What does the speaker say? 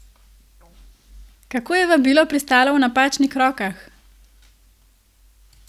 Kako je vabilo pristalo v napačnih rokah?